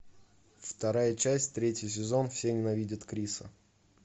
вторая часть третий сезон все ненавидят криса